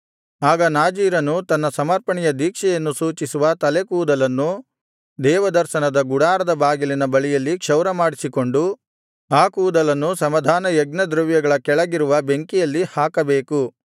ಆಗ ನಾಜೀರನು ತನ್ನ ಸಮರ್ಪಣೆಯ ದೀಕ್ಷೆಯನ್ನು ಸೂಚಿಸುವ ತಲೆಯ ಕೂದಲನ್ನು ದೇವದರ್ಶನದ ಗುಡಾರದ ಬಾಗಿಲಿನ ಬಳಿಯಲ್ಲಿ ಕ್ಷೌರಮಾಡಿಸಿಕೊಂಡು ಆ ಕೂದಲನ್ನು ಸಮಾಧಾನಯಜ್ಞದ್ರವ್ಯಗಳ ಕೆಳಗಿರುವ ಬೆಂಕಿಯಲ್ಲಿ ಹಾಕಬೇಕು